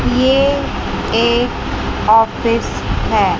ये एक ऑफिस है।